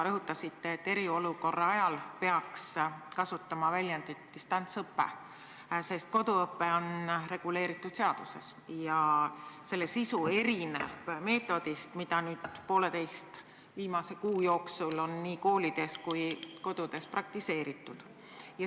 Rõhutasite, et eriolukorra ajal peaks kasutama väljendit "distantsõpe", sest koduõpe on reguleeritud seaduses ja selle sisu erineb meetodist, mida viimase poolteise kuu jooksul on nii koolides kui ka kodudes praktiseeritud.